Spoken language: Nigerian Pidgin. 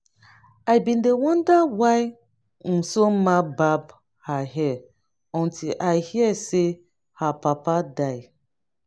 i bin dey wonder why unsonma bab her hair until i hear say her papa die